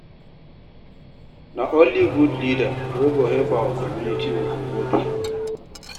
Na only good leader wey go help our community we go vote for.